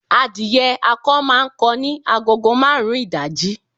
Adìyẹ akọ máa ń kọ ní agogo marun ìdájí